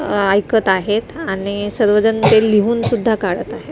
अ ऐकत आहेत आणि सर्वजण ते लिहून सुद्धा काढत आहे.